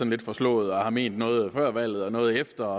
lidt forslåede og har ment noget før valget og noget efter